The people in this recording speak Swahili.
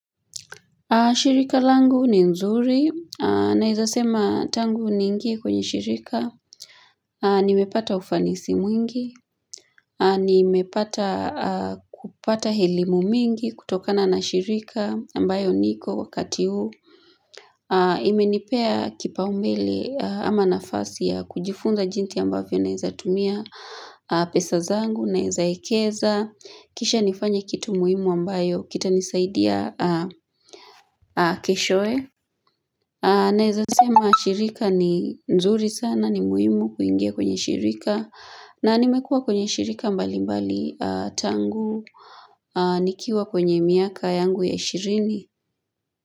Shirika langu ni nzuri, nawezasema tangu niingie kwenye shirika, nimepata ufanisi mwingi, nimepata kupata elimu mingi kutokana na shirika ambayo niko wakati huu. Imenipea kipaombele ama nafasi ya kujifunza jinsi ambavyo naweza tumia pesa zangu, naweza wekeza, kisha nifanye kitu muhimu ambayo kita nisaidia keshoe. Naweza sema shirika ni nzuri sana ni muhimu kuingia kwenye shirika na nimekua kwenye shirika mbali mbali tangu nikiwa kwenye miaka yangu ya ishirini.